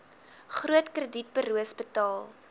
groot kredietburos betaal